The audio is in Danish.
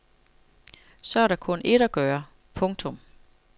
Så er der kun ét at gøre. punktum